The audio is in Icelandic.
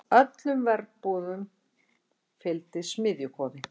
Öllum verbúðum fylgdi smiðjukofi.